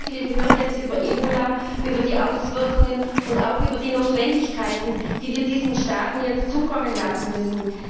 Wir haben jetzt sehr viel gehört über Ebola, über die Auswirkungen und auch über die Notwendigkeiten, die wir diesen Staaten jetzt zukommen lassen müssen.